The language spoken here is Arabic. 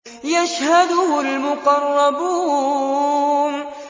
يَشْهَدُهُ الْمُقَرَّبُونَ